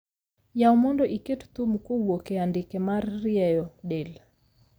Yaw mondo iket thum kowuok e andike mar rieyo del